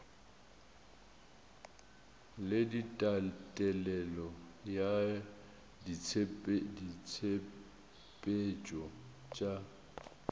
le tatelelo ya ditshepetšo tša